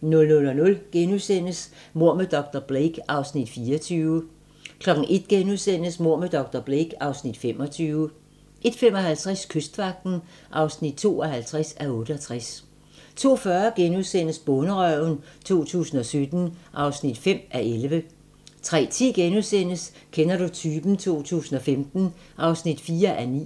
00:00: Mord med dr. Blake (Afs. 24)* 01:00: Mord med dr. Blake (Afs. 25)* 01:55: Kystvagten (52:68) 02:40: Bonderøven 2017 (5:11)* 03:10: Kender du typen? 2015 (4:9)*